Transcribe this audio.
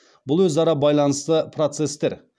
бұл өзара байланысты процестер